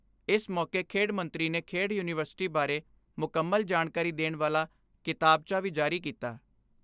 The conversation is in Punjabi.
ਇਸ ਮੌਕੇ ਖੇਡ ਮੰਤਰੀ ਨੇ ਖੇਡ ਯੁਨੀਵਰਸਿਟੀ ਬਾਰੇ ਮੁਕੰਮਲ ਜਾਣਕਾਰੀ ਦੇਣ ਵਾਲਾ ਕਿਤਾਬਚਾ ਵੀ ਜਾਰੀ ਕੀਤਾ।